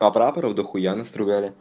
и прапаров дохуя настругали